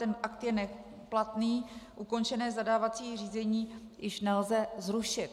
Ten akt je neplatný, ukončené zadávací řízení již nelze zrušit.